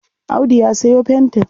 Audu ya sayo fentin.